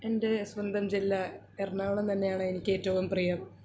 എൻറെ സ്വന്തം ജില്ലാ എറണാകുളം തന്നെയാണ് എനിക്ക് ഏറ്റവും പ്രിയം